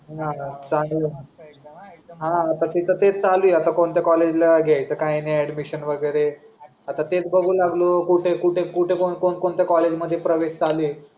आता तीच तेस चालू आहे आता कोणत्या COLLEGE ला घ्यायच काय नाही ADMISSION वगेरे आता तेच बघून लागलो कुठे कुठे कुठे कोण कोणत्या मध्ये प्रवेश चालू आहे